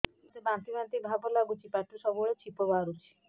ମୋତେ ବାନ୍ତି ବାନ୍ତି ଭାବ ଲାଗୁଚି ପାଟିରୁ ସବୁ ବେଳେ ଛିପ ବାହାରୁଛି